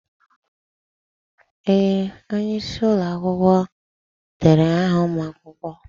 Ee! Onye isi ụlọ akwụkwọ derede aha ụmụ akwụkwọ.